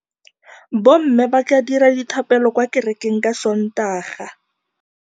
Bommê ba tla dira dithapêlô kwa kerekeng ka Sontaga.